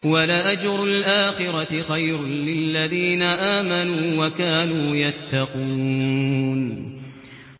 وَلَأَجْرُ الْآخِرَةِ خَيْرٌ لِّلَّذِينَ آمَنُوا وَكَانُوا يَتَّقُونَ